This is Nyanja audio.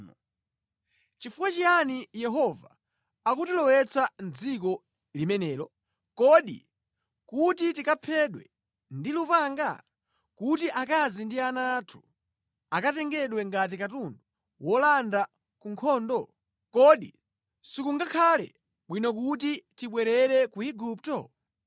Nʼchifukwa chiyani Yehova akutilowetsa mʼdziko limenelo? Kodi kuti tikaphedwe ndi lupanga? Kuti akazi ndi ana athu akatengedwe ngati katundu wolanda ku nkhondo? Kodi sikungakhale bwino kuti tibwerere ku Igupto?”